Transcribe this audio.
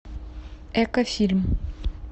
эко фильм